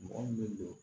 Mɔgɔ min bɛ don